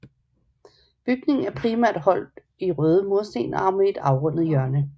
Bygningen er primært holdt røde mursten og med et afrundet hjørne